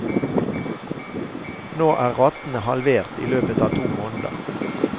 Nå er ratene halvert i løpet av to måneder.